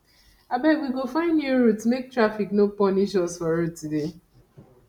abeg we go find new route make taffic no punish us for road today